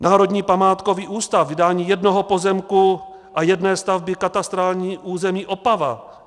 Národní památkový ústav - vydání jednoho pozemku a jedné stavby, katastrální území Opava.